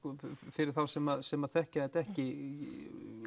fyrir þá sem sem þekkja þetta ekki